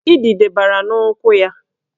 Idide bara n'ụkwụ ya